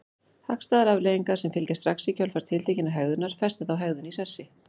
Hagstæðar afleiðingar sem fylgja strax í kjölfar tiltekinnar hegðunar festa þá hegðun í sessi.